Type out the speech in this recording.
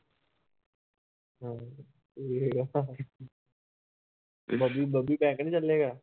Babli Babli bank ਨੀ ਚੱਲੇਗਾ